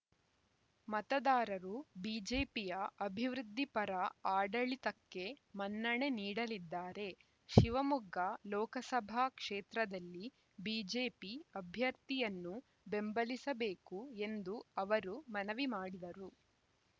ಮತದಾರರು ಬಿಜೆಪಿಯ ಅಭಿವೃದ್ಧಿಪರ ಆಡಳಿತಕ್ಕೆ ಮನ್ನಣೆ ನೀಡಲಿದ್ದಾರೆ ಶಿವಮೊಗ್ಗ ಲೋಕಸಭಾ ಕ್ಷೇತ್ರದಲ್ಲಿ ಬಿಜೆಪಿ ಅಭ್ಯರ್ಥಿಯನ್ನು ಬೆಂಬಲಿಸಬೇಕು ಎಂದು ಅವರು ಮನವಿ ಮಾಡಿದರು